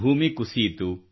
ಭೂಮಿ ಕುಸಿಯಿತು